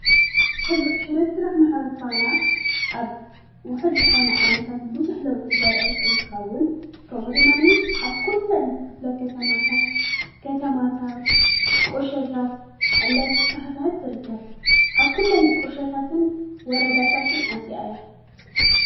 ሕብረትስራሕ ማሕበር ፋና ኣብ ውሕድ ዝኾነ ዓመታት ብዙሕ ለውጢ ዘርአየት እንትኸውን ከም ድማኒ ኣብ ኲለን ክፍለ ከተማታት ከተማታት ቆሸታት እንዳተስፋሕፈሐት ትርከብ ኣብኲለን ቆሸታትን ወረዳታትን ኣትያ እያ።